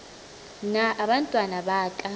na abantwana baka